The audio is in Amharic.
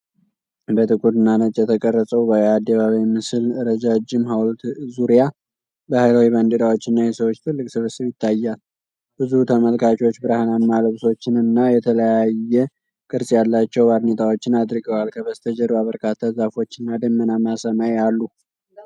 በጥቁርና ነጭ የተቀረጸው የአደባባይ ምስል ረጃጅም ሀውልት ዙሪያ ባህላዊ ባንዲራዎችና የሰዎች ትልቅ ስብስብ ይታያል። ብዙ ተመልካቾች ብርሃናማ ልብሶችንና የተለያየ ቅርጽ ያላቸው ባርኔጣዎችን አድርገዋል። ከበስተጀርባ በርካታ ዛፎች እና ደመናማ ሰማይ አሉ።